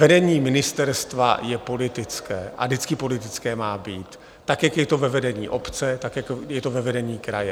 Vedení ministerstva je politické a vždycky politické má být, tak jak je to ve vedení obce, tak jak je to ve vedení kraje.